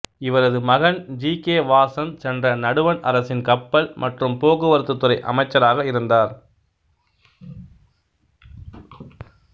இவரது மகன் G K Vasan சென்ற நடுவண் அரசின் கப்பல் மற்றும் போக்குவரத்து துறை அமைச்சராக இருந்தார்